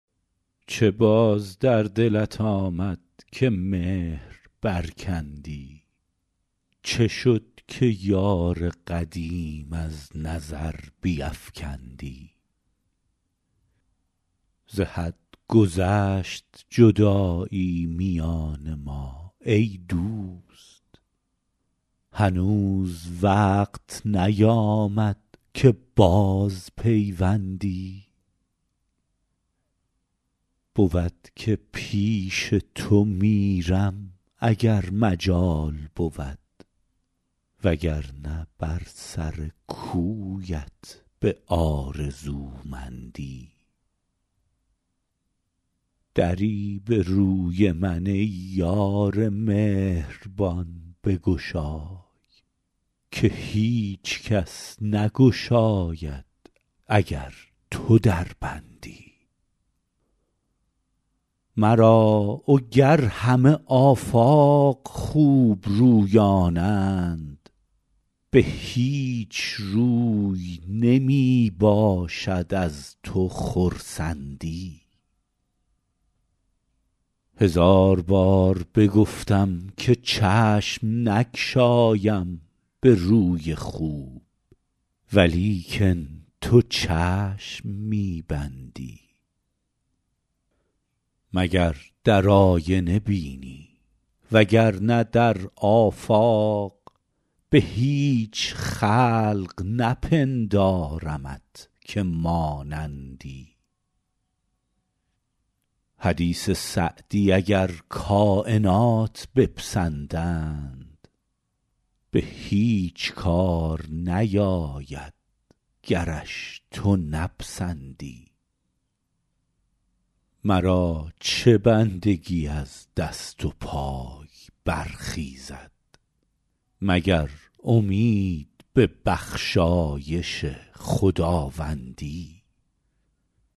چه باز در دلت آمد که مهر برکندی چه شد که یار قدیم از نظر بیفکندی ز حد گذشت جدایی میان ما ای دوست هنوز وقت نیامد که بازپیوندی بود که پیش تو میرم اگر مجال بود وگرنه بر سر کویت به آرزومندی دری به روی من ای یار مهربان بگشای که هیچ کس نگشاید اگر تو در بندی مرا وگر همه آفاق خوبرویانند به هیچ روی نمی باشد از تو خرسندی هزار بار بگفتم که چشم نگشایم به روی خوب ولیکن تو چشم می بندی مگر در آینه بینی وگرنه در آفاق به هیچ خلق نپندارمت که مانندی حدیث سعدی اگر کاینات بپسندند به هیچ کار نیاید گرش تو نپسندی مرا چه بندگی از دست و پای برخیزد مگر امید به بخشایش خداوندی